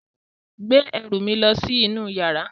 Gbé ẹrù mi lọ sí inú yàrá.